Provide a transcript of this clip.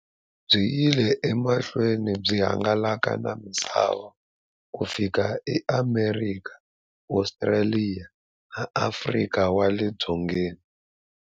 Byi yile emahlweni byi hangalaka na misava ku fika e Amerika, Ostraliya na Afrika wale dzongeni.